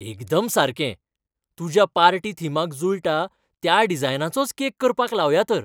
एकदम सारकें ! तुज्या पार्टी थिमाक जुळटा त्या डिजायनाचोच केक करपाक लावया तर.